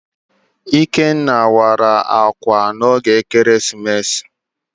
Ikenna wara ákwà n'oge ekeresimesi.